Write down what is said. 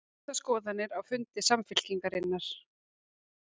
Skiptar skoðanir á fundi Samfylkingarinnar